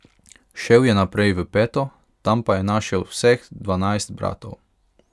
Šel je naprej v peto, tam pa je našel vseh dvanajst bratov.